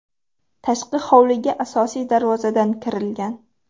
Tashqi hovliga asosiy darvozadan kirilgan.